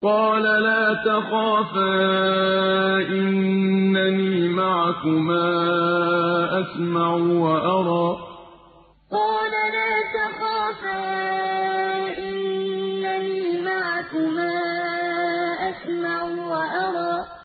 قَالَ لَا تَخَافَا ۖ إِنَّنِي مَعَكُمَا أَسْمَعُ وَأَرَىٰ قَالَ لَا تَخَافَا ۖ إِنَّنِي مَعَكُمَا أَسْمَعُ وَأَرَىٰ